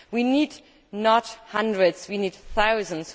We need not hundreds, we need thousands